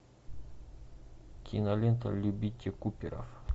кинолента любите куперов